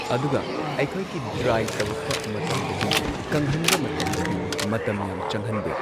ꯑꯗꯨꯒ ꯑꯩꯈꯣꯏꯒꯤ ꯗ꯭ꯔꯥꯏ ꯇꯧꯔꯛꯄ ꯃꯇꯝꯗꯗꯤ ꯀꯪꯍꯟꯕ ꯃꯇꯝꯗꯗꯤ ꯃꯇꯝ ꯌꯥꯝ ꯆꯪꯍꯟꯗꯦ꯫